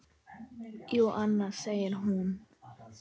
Jú, annars, segir hún.